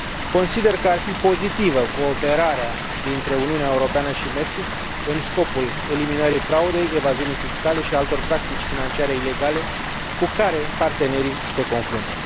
Consider că ar fi pozitivă cooperarea dintre Uniunea Europeană și Mexic, în scopul eliminării fraudei, evaziunii fiscale și altor practici financiare ilegale, cu care partenerii se confruntă.